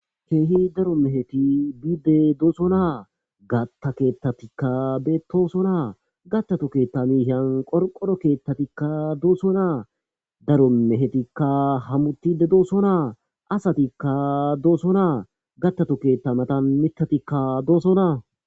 Keehi daro meheti dosona, gata keetatika betosona, gatatu keta miyan qorqoro ketetika dosona, daro mehetika hamutid dosona , gatatu keta matan mitatika dosona